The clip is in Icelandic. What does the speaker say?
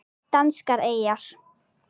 Danskar eyjar